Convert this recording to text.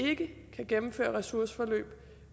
ikke kan gennemføre ressourceforløb